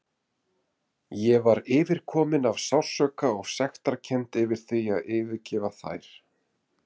Ég var yfirkomin af sársauka og sektarkennd yfir því að yfirgefa þær.